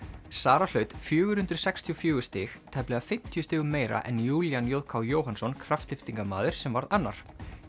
Sara hlaut fjögur hundruð sextíu og fjögur stig tæplega fimmtíu stigum meira en Júlían j k Jóhannsson sem varð annar